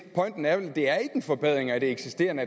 forbedring af det eksisterende